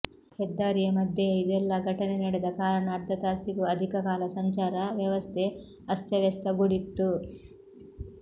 ಹೆದ್ದಾರಿಯ ಮಧ್ಯೆಯ ಇದೆಲ್ಲಾ ಘಟನೆ ನಡೆದ ಕಾರಣ ಅರ್ಧ ತಾಸಿಗೂ ಅಧಿಕ ಕಾಲ ಸಂಚಾರ ವ್ಯವಸ್ಥೆ ಅಸ್ಥವ್ಯಸ್ಥಗೊಡಿತ್ತು